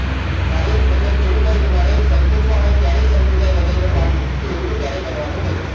મારે મતલબ એવું હોય કે મારે સંકોચવા હોય ત્યારે જ સંકોચાય હ્રદયનો પાર્ટ તો એવું તો ક્યારેય બનવાનું નથી